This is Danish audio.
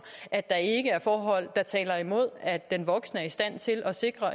at der ikke er forhold der taler imod at den voksne er i stand til at sikre